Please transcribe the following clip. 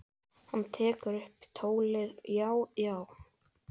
Hann tekur upp tólið: Já, já.